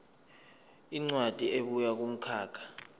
incwadi ebuya kumkhakha